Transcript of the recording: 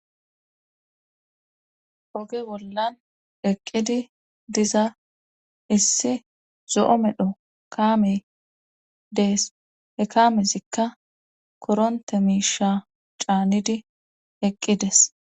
Oge bollan eqqidi diza issi zo7o medho kaame dees he kaamezikka koronte miisha caanidi eqqides